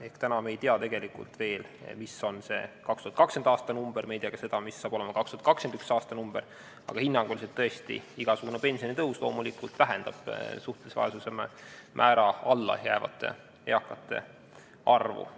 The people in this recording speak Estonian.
Ehk täna me ei tea veel, mis on 2020. aasta number, me ei tea ka seda, missugune tuleb see 2021. aastal, aga hinnanguliselt tõesti igasugune pensionitõus loomulikult vähendab suhtelise vaesuse määrast allapoole jäävate eakate arvu.